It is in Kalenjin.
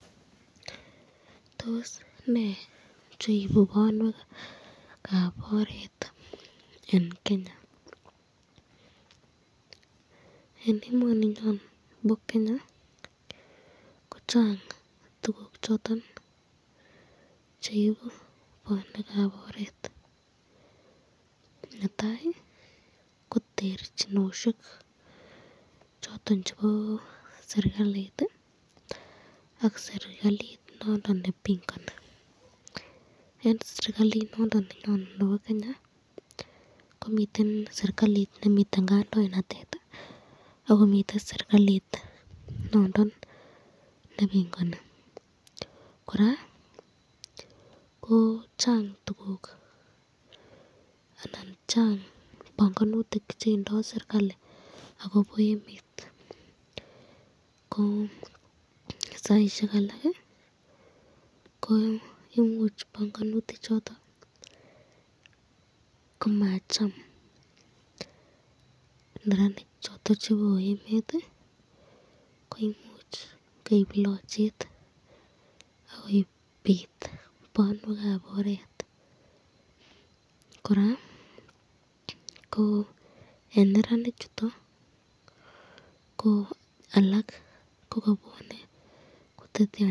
Tos be neibu banwekab oret eng Kenya, eng emaninyon bo Kenya ko Chang tukuk choton cheibu banwekab oret, netai ko terchinosyek choton chebo serikalit ak serikalit nebongani,